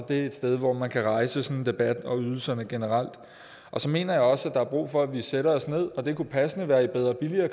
det er et sted hvor man kan rejse sådan en debat om ydelserne generelt og så mener jeg også at der er brug for at vi sætter os ned det kunne passende være i bedre og billigere